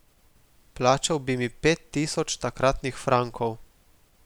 Plačal bi mi pet tisoč takratnih frankov.